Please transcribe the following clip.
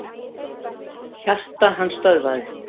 Hjarta hans stöðvaðist.